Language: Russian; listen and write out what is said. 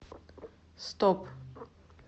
стоп